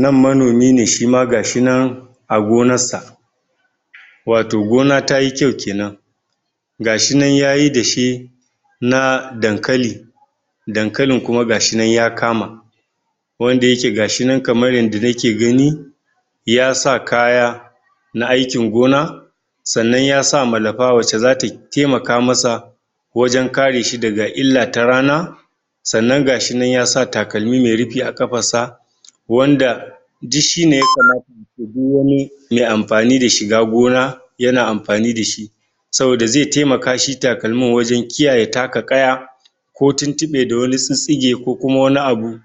nan manomine shima gashi nan a gonansa wato gona tayi kyau kenan gashi nan yayi dashe na dankali dankalin kuma gashi ya kama wanda yake gashi nan kamar yanda nake gani yasa kaya na aikin gona sa'anan yasa malafa wacce zatay taimaka masa wajan kareshi daga illa ta rana sa'anan gashinan yasa takalmi mai rufi akafarsa wanda duk shine yakama due wani mai amfani da shiga gona yana amfani dashi saboda ze taimaka shi takalmin wajan kiyaye taka kaya ko tintibe da wasu sissige ko wani abu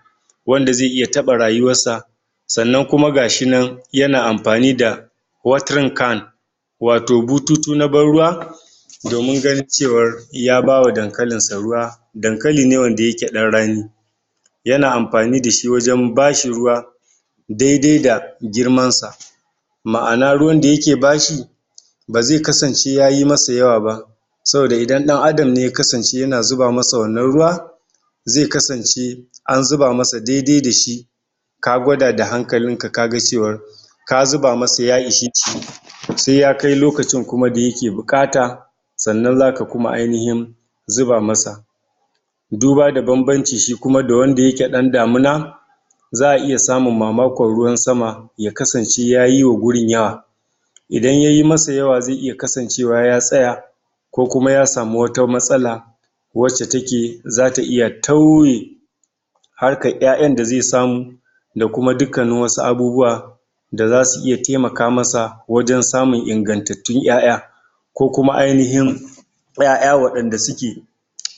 wanda ze iya taba rayuwarsa sa'anan kuma gashi nan yana amfani da (watering can) wato bututu na ban ruwa domin ganin cewar yabawa dankalinsa ruwa dankalin ne wanda yake dan rani yana amfani dashi wajan bashi ruwa daidai da girmansa ma'ana ruwan dayake bashi beze kasance ya yi masa yawaba saboda idan dan Adam ne yakasance yana zuba masa wannan ruwa ze kasance an zuba masa dede dashi ka gwada da hankalinka kaga cewar ka zuba masa ya (????) sai ya kai lokacin kuma da yake bukata sa'anan zaka kuma ainihin zuba masa duba da banbanci shi kuma da wanda yake ɗan damina za'a iya samun mamakon ruwan sama yakasance yayi wa gurin yawa idan yayi masa yawa ze iya kasancewa ya tsaya ko muma ya samu wata matsala wacce take zata iya tauye harkar ƴaƴan da ze iya samu da kuma dukkanin wasu abubuwa da zasu iya taimaka masa wajan samun ingantattun ƴaƴa ko kuma ainihin ƴaƴa wadanda suke da suke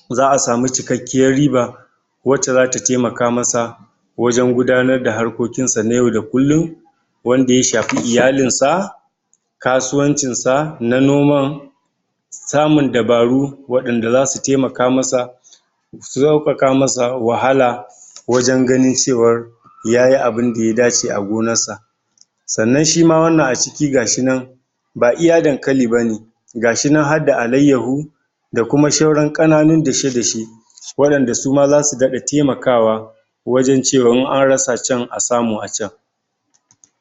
za'asamu cikakkiyar riba wacce zata taimaka masa wajan gudanar da arkokin sa na yau da kullum wanda ya shafi iyalinsa kasuwancinsa na noman samun dabaru wadanda zasu taimaka masa su saukaka masa wahala wajan ganin cewar yayi abinda ya dace a gonarsa sa'anan shima wanann aciki gashi nan ba iya dankali bane gashi nan adda alayahu dakuma shauran kananun dashe dashe wadanda suma zasu dada taimakawa wajan cewan in an rasa chan a samu achan